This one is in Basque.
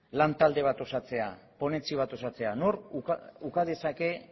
lantalde bat osatzea ponentzia bat osatzea nork uka dezake